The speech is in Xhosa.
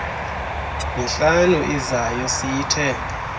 mihlanu izayo siyithe